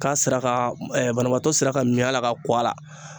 K'a sera ka banabaatɔ sera ka min a la ka ko a la